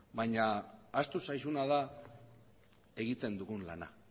baina ahaztu zaizuna da egiten dugun lana